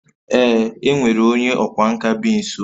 Ee, e nwere onye ọkwá nkà bi nso